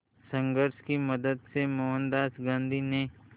संघर्ष की मदद से मोहनदास गांधी ने